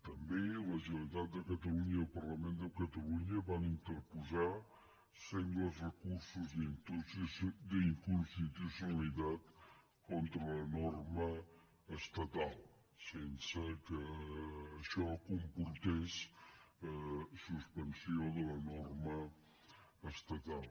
també la generalitat de catalunya i el parlament de catalunya van interposar sengles recursos d’inconstitucionalitat contra la norma estatal sense que això comportés suspensió de la norma estatal